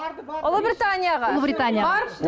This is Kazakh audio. барды ұлыбританияға ұлыбританияға барыпты